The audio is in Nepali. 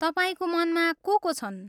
तपाईँको मनमा को को छन्?